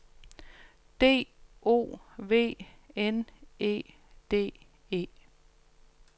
D O V N E D E